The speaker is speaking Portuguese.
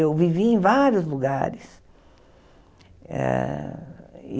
Eu vivi em vários lugares. Eh